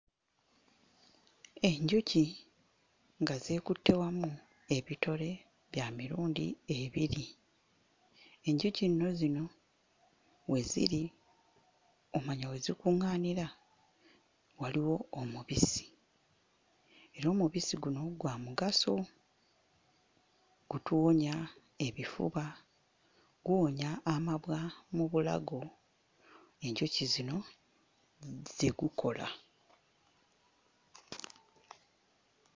Enjuki nga zeekutte wamu ebitole bya mirundi ebiri; enjuki nno zino we ziri omwo we zikuŋŋaanira waliwo omubisi era omubisi guno gwa mugaso gutuwonya ebifuba, guwonya amabwa mu bulago, enjuki zino ze gukola.